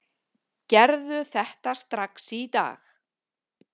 Gerðu þetta strax í dag!